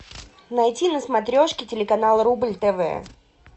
найти на смотрешке телеканал рубль тв